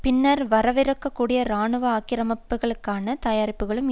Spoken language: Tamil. பின்னர் வரவிருக்கக்கூடிய இராணுவ ஆக்கிரமிப்புக்களுக்கான தயாரிப்புக்களுக்கும்